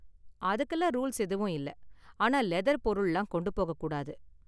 அதுக்குலாம் ரூல்ஸ் எதுவும் இல்ல, ஆனா லெதர் பொருள்லாம் கொண்டு போகக் கூடாது.